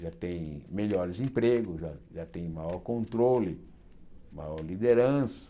já tem melhores empregos, já já tem maior controle, maior liderança.